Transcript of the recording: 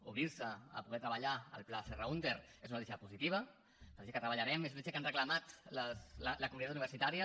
obrir se a poder treballar el pla serra húnter és una notícia positiva és una notícia que treballarem és una notícia que ha reclamat la comunitat universitària